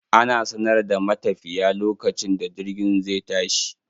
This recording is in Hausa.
Ana sanar da matafiya lokacin da jirgin zai tashi.